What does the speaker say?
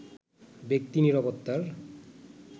ব্যক্তি নিরাপত্তার